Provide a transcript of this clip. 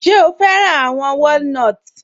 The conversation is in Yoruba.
Ṣẹ̀ o fẹ́ran awọn wòlínotí?